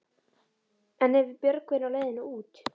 En er Björgvin á leiðinni út?